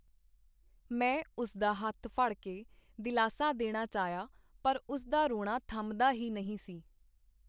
ਮੈਂ ਉਸ ਦਾ ਹੱਥ ਫੜ ਕੇ ਦਿਲਾਸਾ ਦੇਣਾ ਚਾਹਿਆ ਪਰ ਉਸ ਦਾ ਰੋਣਾ ਥੰਮਦਾ ਹੀ ਨਹੀਂ ਸੀ.